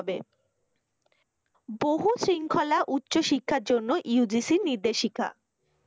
বহু শৃঙ্খলা উচ্চশিক্ষার জন্য UGC ইর নির্দেশিকা।